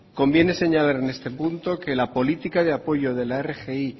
conviene señalar en este punto que la política de apoyo de la rgi